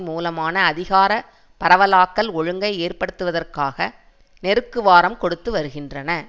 மூலமான அதிகார பரவலாக்கல் ஒழுங்கை ஏற்படுத்துவதற்காக நெருக்குவாரம் கொடுத்து வருகின்றன